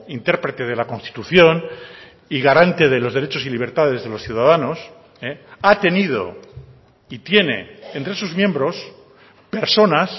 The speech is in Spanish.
intérprete de la constitución y garante de los derechos y libertades de los ciudadanos ha tenido y tiene entre sus miembros personas